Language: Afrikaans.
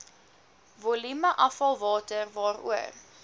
volume afvalwater waaroor